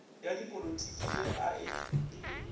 ya dipolitiki ye a e